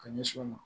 Ka ɲɛsin u ma